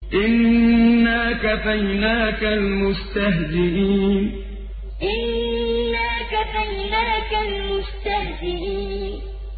إِنَّا كَفَيْنَاكَ الْمُسْتَهْزِئِينَ إِنَّا كَفَيْنَاكَ الْمُسْتَهْزِئِينَ